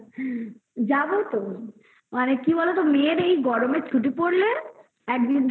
যাবো তো মানে কি বলোতো মেয়ের এই গরমে ছুটি পড়লে দেখি